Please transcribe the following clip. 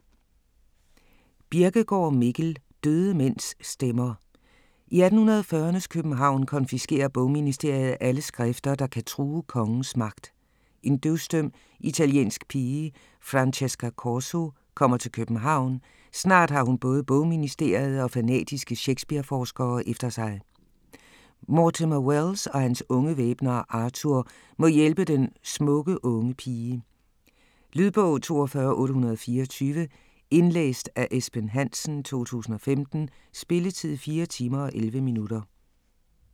Birkegaard, Mikkel: Døde mænds stemmer I 1840'ernes København konfiskerer bogministeriet alle skrifter, der kan true kongens magt. En døvstum, italiensk pige, Francesca Corso, kommer til København, snart har hun både bogministeriet og fanatiske Shakespeare-forskere efter sig. Mortimer Welles og hans unge væbner, Arthur, må hjælpe den smukke unge pige. Lydbog 42824 Indlæst af Esben Hansen, 2015. Spilletid: 4 timer, 11 minutter.